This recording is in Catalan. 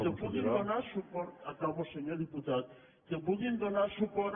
que puguin donar suport acabo senyor diputat que puguin donar suport